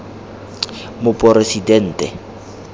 moporesidente